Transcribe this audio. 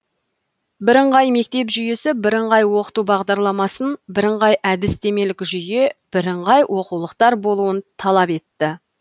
бірыңғай мектеп жүйесі бірыңғай оқыту бағдарламасын бірыңғай әдістемелік жүйе бірыңғай оқулықтар болуын талап етті